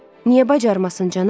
Niyə bacarmasın, cənab?